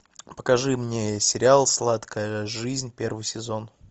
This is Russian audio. покажи мне сериал сладкая жизнь первый сезон